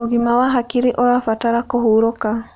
Ũgima wa hakĩrĩ ũrabatara kũhũrũka